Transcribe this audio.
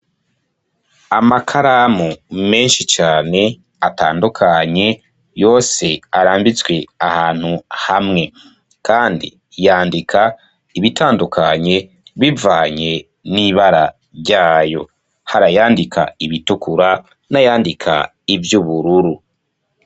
Amakaramu menshi cane, atandukanye, yose, arambitswe ahantu hamwe; kandi yandika ibitandukanye, bivanye n'ibara ryayo, hari ayandika ibitukura, n'ayandika ivy'ubururu.